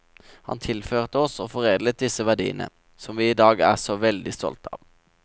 Han tilførte oss og foredlet disse verdiene, som vi i dag er så veldig stolte av.